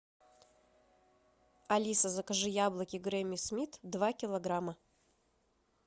алиса закажи яблоки гренни смит два килограмма